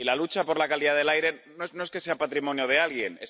Y la lucha por la calidad del aire, no es que sea patrimonio de alguien